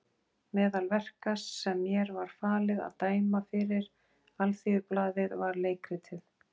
Meðal verka sem mér var falið að dæma fyrir Alþýðublaðið var leikritið